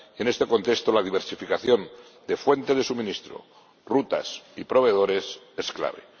Y, en este contexto, la diversificación de fuentes de suministro, rutas y proveedores es clave.